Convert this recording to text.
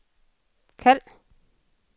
kald